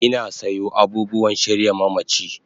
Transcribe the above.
Ina sayo abubuwan shirya mamachi